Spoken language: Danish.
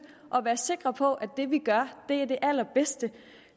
og være sikre på at det vi gør er det allerbedste